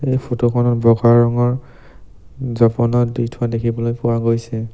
এই ফটোখনত বগা ৰঙৰ জপনা দি থোৱা দেখিবলৈ পোৱা গৈছে।